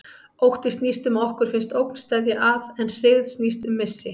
Ótti snýst um að okkur finnst ógn steðja að, en hryggð snýst um missi.